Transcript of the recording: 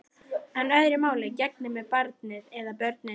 En öðru máli gegnir með barnið. eða börnin.